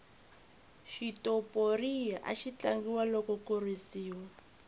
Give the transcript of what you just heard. xitoporiya axi tlangiwa loko ku risiwa